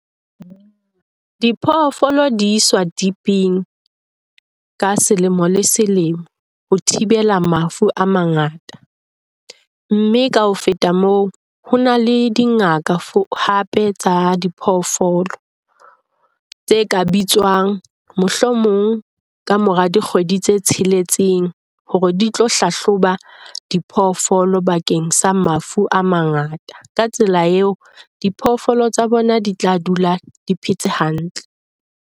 Diphoofolo di iswa dip-eng ka selemo le selemo ho thibela mafu a mangata, mme ka ho feta moo ho na le dingaka hape tsa diphoofolo tse ka bitswang. Mohlomong ka mora dikgwedi tse tsheletseng hore di tlo hlahloba diphoofolo bakeng sa mafu a mangata ka tsela eo diphoofolo tsa bona di tla dula di phetse hantle.